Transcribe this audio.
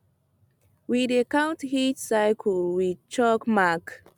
we dey count heat cylce with chalk mark